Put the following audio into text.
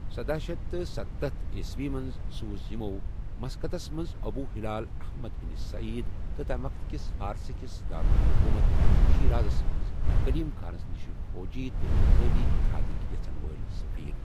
سدہ شیتھ سَتتھ ء منٛز سوٗزۍ یمو مسقطس منٛز ابو ہلال احمد بن سعید تہٕ تمہِ وقتہٕ کِس فارس کِس دارالحکومت شیرازس منٛز کریم خانس نشہِ فوجی تہٕ اِقتصٲدی اتحادکۍ یژھن وٲلۍ سفیر۔